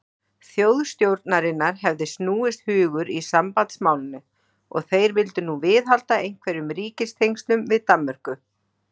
Þjóðstjórnarinnar hefði snúist hugur í sambandsmálinu, og þeir vildu nú viðhalda einhverjum ríkistengslum við Danmörku.